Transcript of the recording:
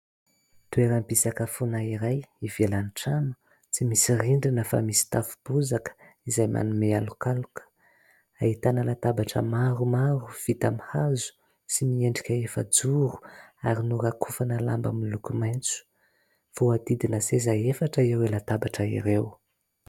Toeram-pisakafoana iray ivelan'ny trano tsy misy rindrina fa misy tafo bozaka izay manome alokaloka. Ahitana latabatra maromaro vita amin'ny hazo sy miendrika efajoro ary norakofana lamba miloko maitso ; voadidina seza efatra ireo latabatra ireo.